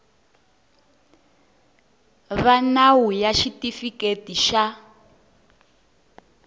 va nawu ya xitifiketi xa